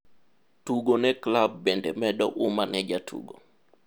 Tugo ne klab bende medo huma ne jatugo.